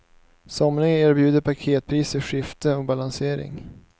Somliga erbjuder paketpris för skifte och balansering.